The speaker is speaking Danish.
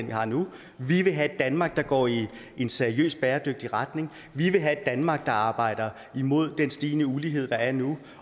vi har nu vi vil have et danmark der går i en seriøst bæredygtig retning vi vil have et danmark der arbejder imod den stigende ulighed der er nu